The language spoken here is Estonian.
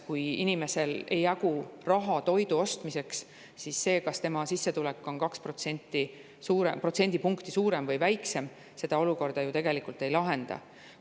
Kui inimesel ei jagu raha toidu ostmiseks, siis see, kas tema sissetulek on kaks protsendipunkti suurem või väiksem, seda olukorda ju tegelikult ei lahenda.